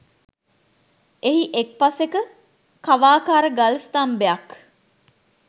එහි එක් පසෙක කවාකාර ගල් ස්ථම්භයක්